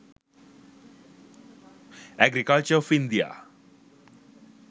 agriculture of india